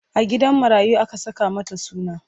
A gidan marayu aka saka mata suna.